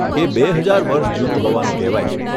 એ બે હજાર વર્ષ જૂનું હોવાનું કહેવાય છે.